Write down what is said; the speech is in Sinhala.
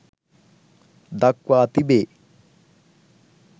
දක්වා තිබේ.